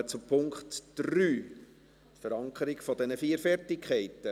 Wir kommen zum Punkt 3, der Verankerung dieser vier Fertigkeiten.